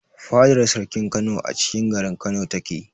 Fadar sarkin Kano acikin garin Kano ta ke